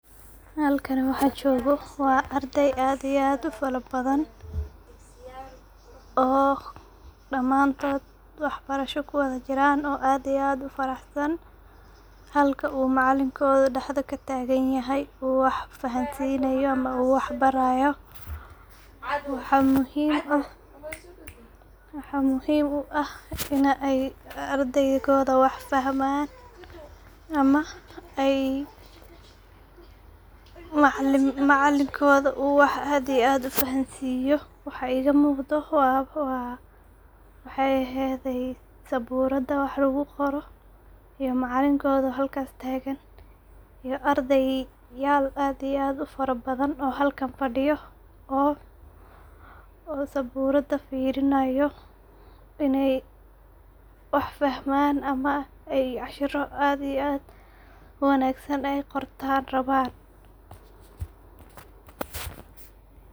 Halkani waxa jogo waa arday aad iyo aad u faro badan oo daman tod wax barasho kuwada jiraan oo aad iyo aad u farax san. Halka u macalinkoda dhahada kataganyahay u wax fahansinayo ama u wax barayo .Waxa muhim u ah ini aradayda wax fahman ama u macalinkoda uu aad iyo aad u wax u fahansiyo .Waxa iga muqdo saburada wax lagu qoro ,macalinkoda oo mesha tagan iyo ardeyal aad iyo aad u farabadan oo halkan fadiyo oo saburada firinayo iney wax fahman oo cashiro aad iyo aad u wanagsan ay qortan rabaan.